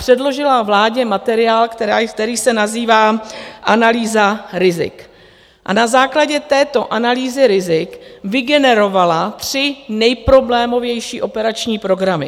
Předložil vládě materiál, který se nazývá analýza rizik, a na základě této analýzy rizik vygeneroval tři nejproblémovější operační programy.